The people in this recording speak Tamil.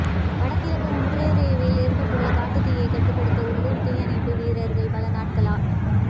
வடகிழக்கு ஒன்ராறியோவில் ஏற்பட்டுள்ள காட்டுத்தீயை கட்டுப்படுத்த உள்ளூர் தீயணைப்பு வீரர்கள் பல நாட்களா